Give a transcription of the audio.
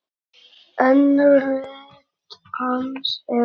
Önnur rit hans eru